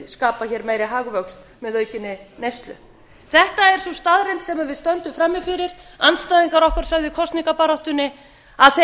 skapa hér meiri hagvöxt með aukinni neyslu þetta er sú staðreynd sem við stöndum frammi fyrir andstæðingar okkar sögðu í kosningabaráttunni að